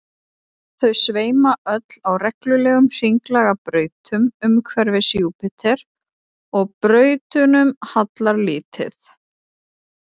þau sveima öll á reglulegum hringlaga brautum umhverfis júpíter og brautunum hallar lítið